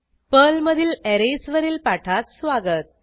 पर्लमधील अरेज वरील पाठात स्वागत